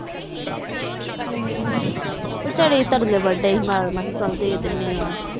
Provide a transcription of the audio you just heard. ਉਹ ਬਚਰਏ ਤਰਲੇ ਵਾਦੇ ਸੀ ਚਾਲ ਦੇ ਦੇਂਦੇ ਆ